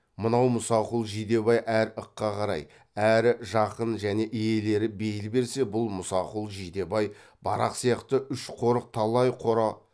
мынау мұсақұл жидебай әрі ыққа қарай әрі жақын және иелері бейіл берсе бұл мұсақұл жидебай барақ сияқты үш қорық талай қора